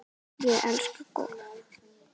Ég elska golf.